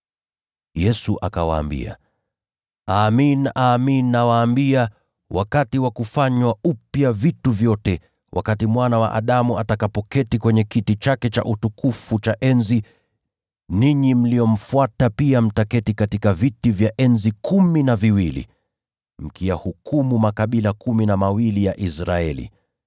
Yesu akawaambia, “Amin, nawaambia, wakati wa kufanywa upya vitu vyote, Mwana wa Adamu atakapoketi kwenye kiti chake kitukufu cha enzi, ninyi mlionifuata pia mtaketi katika viti vya enzi kumi na viwili, mkiyahukumu makabila kumi na mawili ya Israeli.